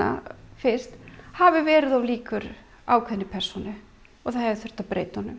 fyrst hafi verið of líkur ákveðinni persónu og það hafi þurft að breyta honum